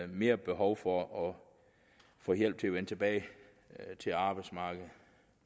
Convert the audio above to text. mere behov for at få hjælp til at vende tilbage til arbejdsmarkedet